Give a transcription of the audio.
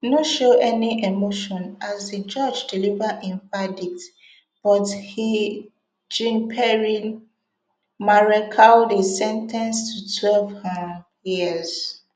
no show any emotion as di judge deliver im verdict but e jeanpierre marechaldey sen ten ced to twelve um years